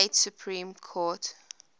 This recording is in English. state supreme court